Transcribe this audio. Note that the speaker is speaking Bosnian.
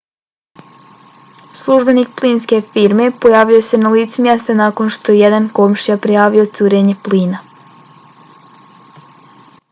službenik plinske firme pojavio se na licu mjesta nakon što je jedan komšija prijavio curenje plina